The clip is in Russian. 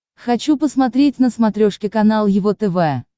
хочу посмотреть на смотрешке канал его тв